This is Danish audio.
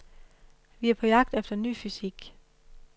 Vi er på jagt efter ny fysik.